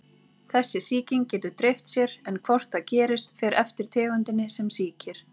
Þessi sýking getur dreift sér, en hvort það gerist fer eftir tegundinni sem sýkir.